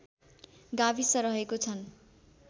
गाविस रहेको छन्